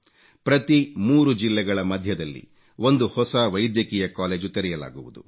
ಪ್ರತಿ 3 ಜಿಲ್ಲೆಗಳ ಮಧ್ಯದಲ್ಲಿ ಒಂದು ಹೊಸ ವೈದ್ಯಕೀಯ ಕಾಲೇಜು ತೆರೆಯಲಾಗುವುದು